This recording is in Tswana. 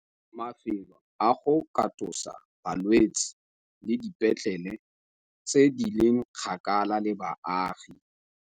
Mafelo a go katosa balwetse le dipetlele tse di leng kgakala le baagi.